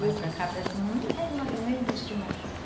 Mas para cá, para cima, não tem mais, não existe mais.